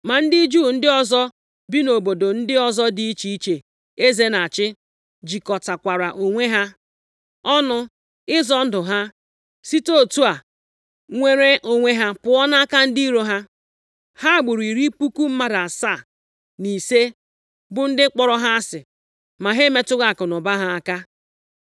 Ma ndị Juu ndị ọzọ bi nʼobodo ndị ọzọ dị iche iche eze na-achị, jikọtakwara onwe ha ọnụ ịzọ ndụ ha, site otu a nwere onwe ha pụọ nʼaka ndị iro ha. Ha gburu iri puku mmadụ asaa na ise bụ ndị kpọrọ ha asị, ma ha emetụghị akụnụba ha aka.